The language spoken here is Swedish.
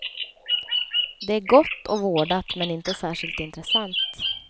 Det är gott och vårdat men inte särskilt intressant.